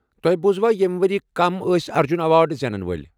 تۄہہ بوُزوا ییٚمہ ؤرۍ کم ٲسہِ ارجٗن ایوارڈ زینن وٲلہِ ؟